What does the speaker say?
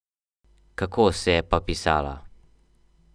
Kako se je pa pisala?